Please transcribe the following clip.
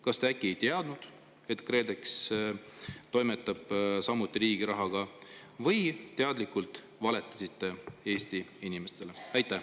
Kas te äkki ei teadnud, et Kredex toimetab samuti riigi rahaga, või valetasite teadlikult Eesti inimestele?